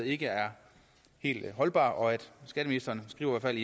ikke er helt holdbar skatteministeren skriver i